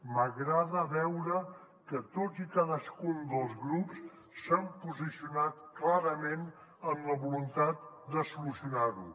m’agrada veure que tots i cadascun dels grups s’han posicionat clarament en la voluntat de solucionar ho